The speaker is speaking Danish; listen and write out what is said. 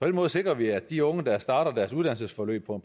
den måde sikrer vi at de unge der fremover starter deres uddannelsesforløb på